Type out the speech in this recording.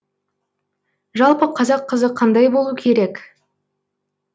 жалпы қазақ қызы қандай болу керек